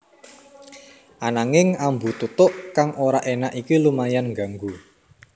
Ananging ambu tutuk kang ora énak iki lumayan ngganggu